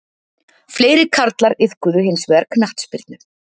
Fleiri karlar iðkuðu hins vegar knattspyrnu